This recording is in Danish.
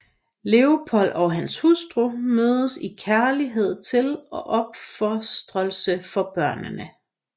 Leopold og hans hustru mødtes i kærlighed til og opofrelse for børnene